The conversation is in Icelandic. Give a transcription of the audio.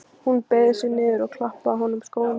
Hún beygði sig niður og klappaði honum á kollinn.